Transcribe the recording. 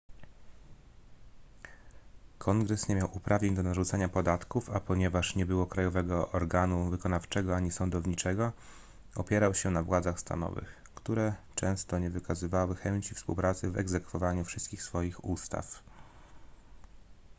kongres nie miał uprawnień do narzucania podatków a ponieważ nie było krajowego organu wykonawczego ani sądowniczego opierał się na władzach stanowych które często nie wykazywały chęci współpracy w egzekwowaniu wszystkich swoich ustaw